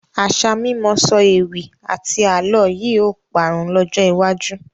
Àṣà mímọ sọ ewì àti àálọ́ yìí ó parun lọ́jọ́ iwájú